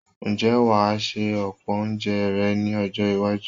Ǹjẹ́ wà á se ọ̀pọ̀ oúnje rẹ ní ọjọ́-iwájú?